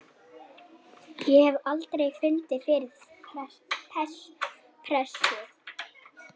Ég hef aldrei fundið fyrir pressu.